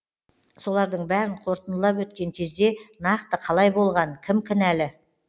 солардың бәрін қорытындылап өткен кезде нақты қалай болған кім кінәлі